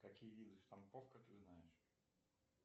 какие виды штамповка ты знаешь